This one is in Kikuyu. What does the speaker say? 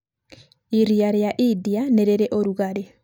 Iria rĩa India nĩ rĩiri ũrugarĩ.